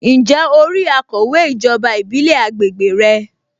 Ǹjẹ́ o rí akọ̀wé ijoba ìbílẹ̀ àgbègbè rẹ?